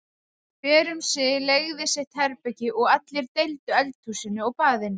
Hver um sig leigði sitt herbergi og allir deildu eldhúsinu og baðinu.